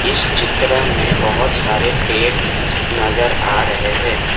इस चित्र में बहुत सारे पेड़ नजर आ रहे हैं।